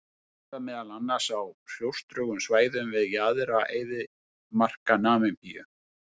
Þau lifa meðal annars á hrjóstrugum svæðum við jaðra eyðimarka Namibíu.